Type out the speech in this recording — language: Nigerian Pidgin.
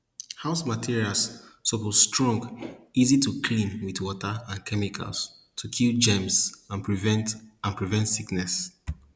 house materials suppose strong easy to clean with water and chemicals to kill germs and prevent and prevent sickness